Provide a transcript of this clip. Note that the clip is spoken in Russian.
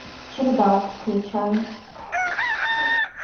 чердак включай